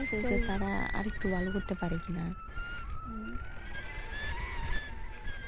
তারা আরেকটু ভালো করতে পারে কিনা ,